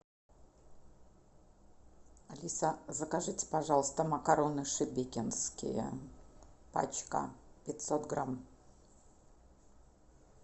алиса закажите пожалуйста макароны шебекинские пачка пятьсот грамм